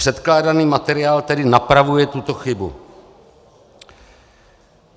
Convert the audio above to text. Předkládaný materiál tedy napravuje tuto chybu.